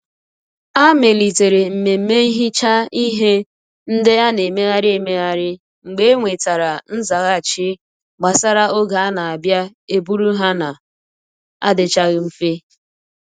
A melitere mmemme nhicha ihe nde a n'emegharị emegharị mgbe e nwetara nzaghachi gbasara oge a na abịa e buru ha na um adichaghi nfe.